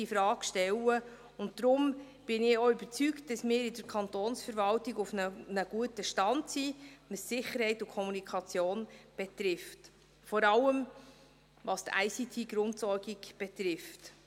Deshalb bin ich auch überzeugt, dass wir in der Kantonsverwaltung auf einem guten Stand sind, was Sicherheit und Kommunikation betrifft, vor allem, was die ICT-Grundversorgung betrifft.